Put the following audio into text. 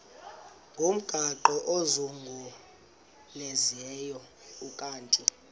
ngomgaqo ozungulezayo ukanti